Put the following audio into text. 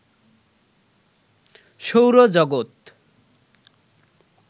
সৌরজগত